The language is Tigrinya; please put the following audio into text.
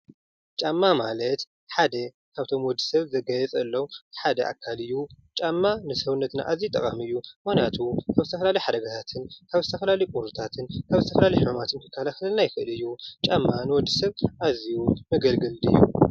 ጫማ ማለት ሓደ ካብቶም ንወዲ ሰብ ዝጋየፀሎም ሓደ ኣካል እዩ ።ጫማ ንሰውነትና ኣዝዩ ጠቃሚ እዩ ። ምክንያቱ ካብ ዝተፈላለዩ ሓደጋታትን፣ ካብ ዝተፈላለዩ ቁርታትን ፣ ካብ ዝተፈላለዩ ሕማማትን ዝከላከለልና ይኽእል እዩ። ጫማ ንወድሰብ ኣዝዩ ዘገልግል ድዩ?